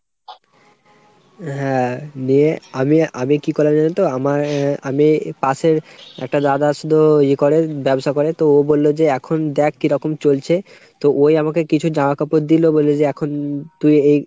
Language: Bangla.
হ্যাঁ নিয়ে আমি আমি কী করলাম জানোতো আমার ০ আমি পাশের একটা দাদার শুধু ইয়ে করে ব্যবসা করে তো ও বললো এখন দ্যাখ কিরকম চলছে। তো ওই আমাকে কিছু জামাকাপড় দিলো বললো যে এখন তুই এই